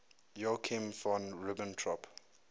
joachim von ribbentrop